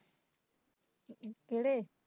ਕਿਹੜੇ